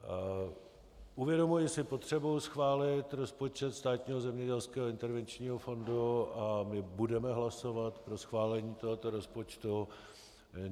Uvědomuji si potřebu schválit rozpočet Státního zemědělského intervenčního fondu a my budeme hlasovat pro schválení tohoto rozpočtu.